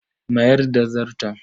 Mayar da Zarton.